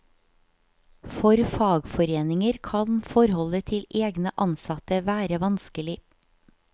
For fagforeninger kan forholdet til egne ansatte være vanskelig.